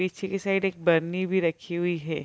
पीछे की साइड एक बरनी भी रखी हुई है।